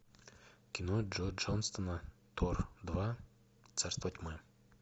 кино джо джонстона тор два царство тьмы